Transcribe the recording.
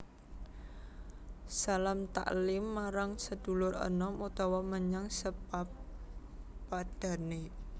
Salam taklim marang sedulur enom utawa menyang sapepadhané